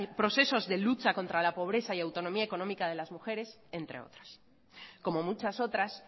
procesos de lucha contra la pobreza y autonomía económica de las mujeres entre otras como muchas otras